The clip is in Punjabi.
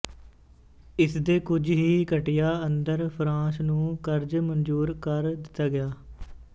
ਇਸਦੇ ਕੁਝ ਹੀ ਘੰਟਿਆਂ ਅੰਦਰ ਫਰਾਂਸ ਨੂੰ ਕਰਜ਼ ਮਨਜ਼ੂਰ ਕਰ ਦਿੱਤਾ ਗਿਆ